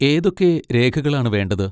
ഏതൊക്കെ രേഖകളാണ് വേണ്ടത്?